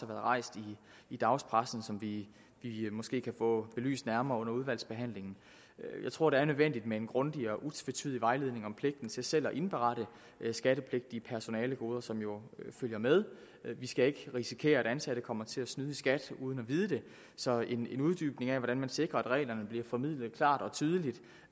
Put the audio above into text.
været rejst i dagspressen og som vi måske kan få belyst nærmere under udvalgsbehandlingen jeg tror det er nødvendigt med en grundig og utvetydig vejledning om pligten til selv at indberette skattepligtige personalegoder som jo følger med vi skal ikke risikere at ansatte kommer til at snyde i skat uden at vide det så en uddybning af hvordan man sikrer at reglerne bliver formidlet klart og tydeligt